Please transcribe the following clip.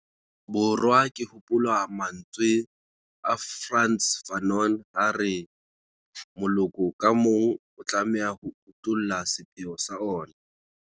Borwa ke hopola mantswe a Frantz Fanon ha a re 'moloko ka mong o tlameha ho utolla sepheo sa ona'.